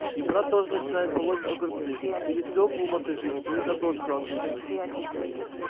и брат тоже начинает полоть огурцы или свёклу мотыжить или картошку окучивать